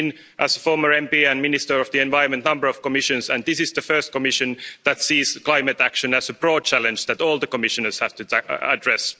I've seen, as a former MP and Minister of the Environment, a number of Commissions, and this is the first Commission that sees climate action as a broad challenge that all the Commissioners have to address.